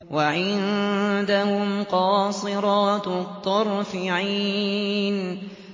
وَعِندَهُمْ قَاصِرَاتُ الطَّرْفِ عِينٌ